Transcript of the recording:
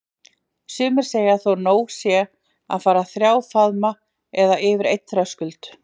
Sumir segja þó nóg sé að fara þrjá faðma eða yfir einn þröskuld.